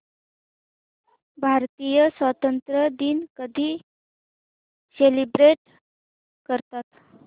भारतीय स्वातंत्र्य दिन कधी सेलिब्रेट करतात